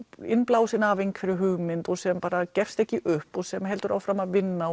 innblásin af einhverri hugmynd og sem gefst ekki upp og sem heldur áfram að vinna